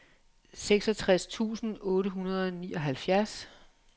seksogtres tusind otte hundrede og nioghalvfjerds